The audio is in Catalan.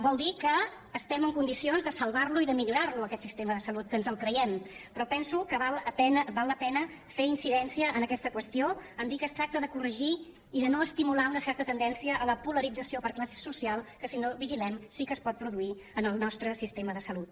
vol dir que estem en condicions de salvar lo i de millorar lo aquest sistema de salut que ens el creiem però penso que val la pena fer incidència en aquesta qüestió a dir que es tracta de corregir i de no estimular una certa tendència a la polarització per classe social que si no vigilem sí que es pot produir en el nostre sistema de salut